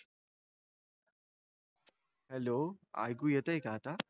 Hello. ऐकू येतंय का आता?